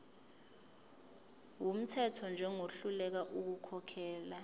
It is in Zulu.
wumthetho njengohluleka ukukhokhela